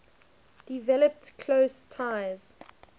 developed close ties